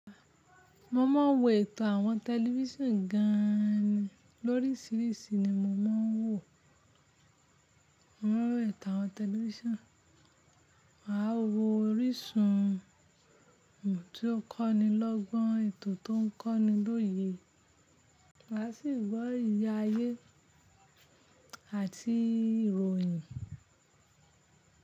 Mo máa ń wo ètò àwọn tẹlifíṣàn gan-an ní, lóríṣìíríṣìí ni mo máa ń wò. Mo máa ń wo ètò àwọn tẹlifíṣàn, màá wo orísun tí ó kọ́ni lọ́gbọ́n, ètò tó ń kọ́ni lóye, màá sì ń gbọ́ ìrírí ayé àti ìròyìn.